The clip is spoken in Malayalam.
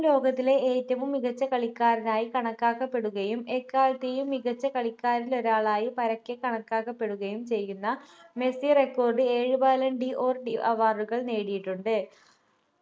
ലോകത്തിലെ ഏറ്റവും മികച്ച കളിക്കാരനായി കണക്കാക്കപ്പെടുകയും എക്കാലത്തെയും മികച്ച കളിക്കാരിലൊരാളായി പരക്കെ കണക്കാക്കപ്പെടുകയും ചെയ്യുന്ന മെസ്സി record ഏഴ് ballan d'Or award കൾ നേടിയിട്ടുണ്ട്